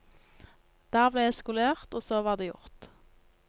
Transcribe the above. Der ble jeg skolert, og så var det gjort.